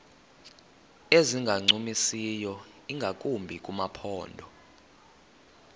ezingancumisiyo ingakumbi kumaphondo